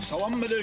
Salam əleykum.